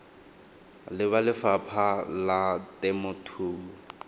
le ba lefapha la temothuo